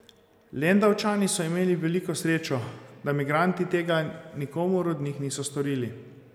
Lendavčani so imeli veliko srečo, da migranti tega nikomur od njih niso storili.